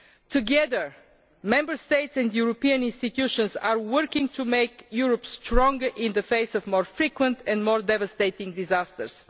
Together, the Member States and European institutions are working to make Europe stronger in the face of more frequent and more devastating disasters.